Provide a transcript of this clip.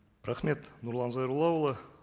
рахмет нұрлан зайроллаұлы